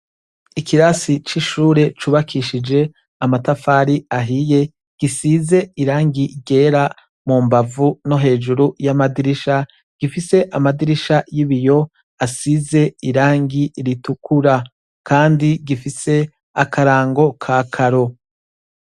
Ikirasi cishure cubakishije amatafari ahiye gisize irangi ryera mumbavu nohejuru yamadirisha gifise amadirisha yibiyo asize irangi ritukura kandi gifise akarango kakaro